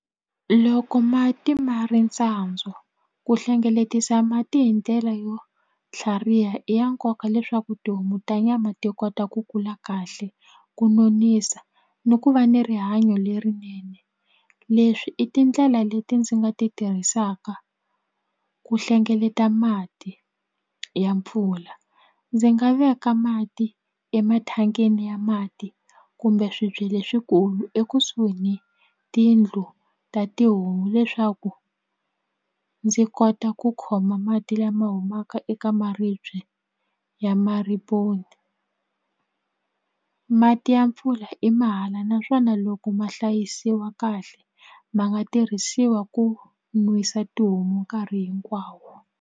Loko mati ma ri tsandzwa ku hlengeletisa mati hi ndlela yo tlhariha i ya nkoka leswaku tihomu ta nyama ti kota ku kula kahle ku nonisa ni ku va ni rihanyo lerinene leswi i tindlela leti ndzi nga ti tirhisaka ku hlengeleta mati ya mpfula ndzi nga veka mati eka mathangini ya mati kumbe swibye leswikulu ekusuhi ni tiyindlu ta tihomu leswaku ndzi kota ku khoma mati lama humaka eka maribye ya mati ya mpfula i mahala naswona loko ma hlayisiwa kahle ma nga tirhisiwa ku nwisa tihomu nkarhi hinkwawo.